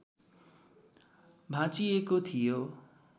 भाँचिएको थियो